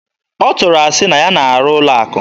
Ọ tụrụ asị na ya na-arụ n'ụlọ akụ.